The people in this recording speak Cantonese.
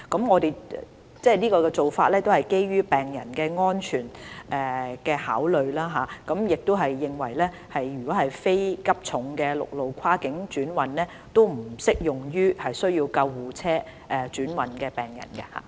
我們的做法是基於病人安全為考慮，並認為非急重病病人不適用於需要救護車跨境轉運的病人。